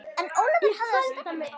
En Ólafur hafði stefnu.